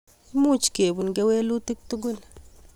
Much kepun kewelutik tugul